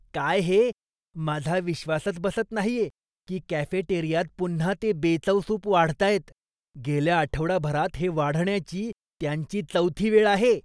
काय हे, माझा विश्वासच बसत नाहीये की कॅफेटेरियात पुन्हा ते बेचव सूप वाढतायत. गेल्या आठवडाभरात हे वाढण्याची त्यांची चौथी वेळ आहे.